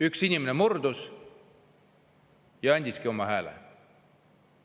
Üks inimene murdus ja andiski oma hääle.